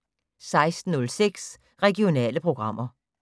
16:06: Regionale programmer